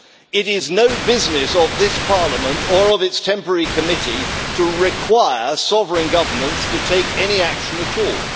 It is no business of this Parliament or of its temporary committee to require sovereign governments to take any action at all.